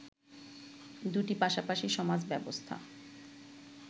দুটি পাশাপাশি সমাজব্যবস্থা